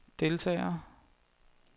deltagere